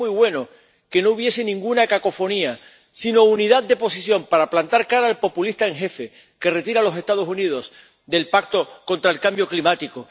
Y sería muy bueno que no hubiese ninguna cacofonía, sino unidad de posición para plantar cara al populista en jefe, que retira a los Estados Unidos del pacto contra el cambio climático